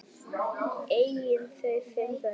Eiga þau fimm börn.